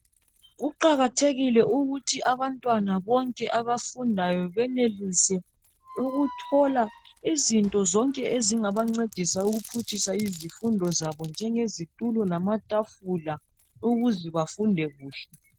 Kuqakathekile ukuthi abantwana bonke abafundayo benelise ukuthola izinto zonke ezingabancedisa ukuphutshisa izifundo zabo njenge zitulo lamatafula ukuze bafunde kuhle.